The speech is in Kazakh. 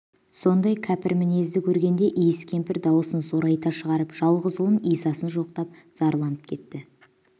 осындай кәпір мінезді көргенде иіс кемпір даусын зорайта шығарып жалғыз ұлын исасын жоқтап зарланып кетті